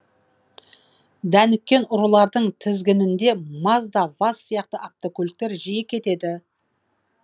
дәніккен ұрылардың тізгінінде мазда ваз сияқты автокөліктер жиі кетеді